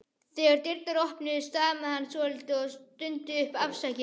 Þegar dyrnar opnuðust stamaði hann svolítið og stundi upp: Afsakið